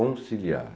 Conciliar.